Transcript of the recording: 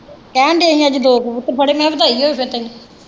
ਕਹਿਣ ਦੇ ਹੀ ਅਸੀਂ ਅੱਜ ਦੋ ਕਬੂਤਰ ਫੜੇ ਮੈਂ ਕਿਹਾ ਵਧਾਈ ਹੋਵੇ ਫਿਰ ਤੈਨੂੰ।